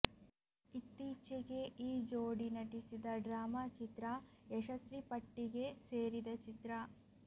ಇತ್ತೀಚೆಗೆ ಈ ಜೋಡಿ ನಟಿಸಿದ ಡ್ರಾಮಾ ಚಿತ್ರ ಯಶಸ್ವಿ ಪಟ್ಟಿಗೆ ಸೇರಿದ ಚಿತ್ರ